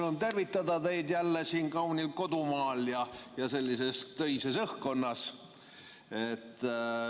Rõõm tervitada teid jälle siin kaunil kodumaal ja sellises töises õhkkonnas.